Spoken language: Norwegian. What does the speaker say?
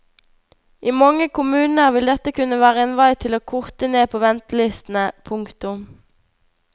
I mange kommuner vil dette kunne være en vei til å korte ned på ventelistene. punktum